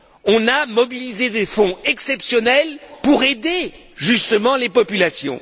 On a mobilisé des fonds exceptionnels pour aider justement les populations.